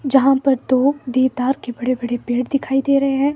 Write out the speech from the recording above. जहां पर दो देवतार के बड़े-बड़े पेड़ दिखाई दे रहे हैं।